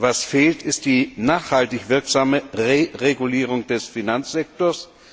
Was fehlt, ist die nachhaltig wirksame Reregulierung des Finanzsektors.